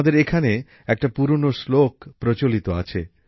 আমাদের এখানে একটা পুরনো শ্লোক প্রচলিত আছে